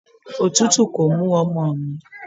Òtútù kò mú ọmọ mi.